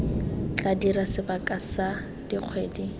tla dira sebaka sa dikgwedi